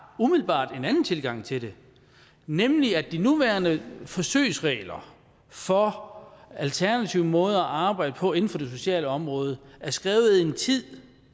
umiddelbart en anden tilgang til det nemlig at de nuværende forsøgsregler for alternative måder at arbejde på inden for det sociale område er skrevet i en tid